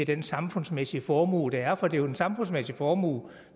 den samfundsmæssige formue der er for det er jo en samfundsmæssig formue